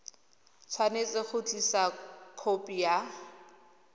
tshwanetse go tlisa khopi ya